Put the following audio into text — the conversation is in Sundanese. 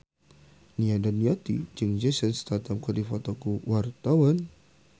Nia Daniati jeung Jason Statham keur dipoto ku wartawan